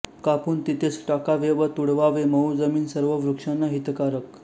कापून तिथेच टाकावे व तुडवावे मऊ जमीन सर्व वृक्षांना हितकारक